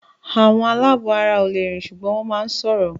Àwọn aláàbọ̀ara ò le rìn ṣùgbọ́n wọ́n máà ń sọ̀rọ̀